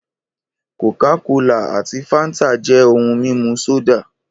Kòká kolà àti Fáńtà jẹ́ ohun mímu sódà